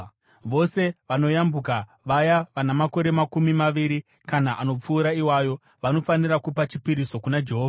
Vose vanoyambuka, vaya vana makore makumi maviri kana anopfuura iwayo, vanofanira kupa chipiriso kuna Jehovha.